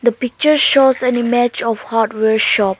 the picture shows an image of hardware shop.